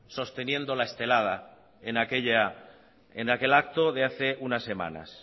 sosteniendo la estelada en aquel acto de hace unas semanas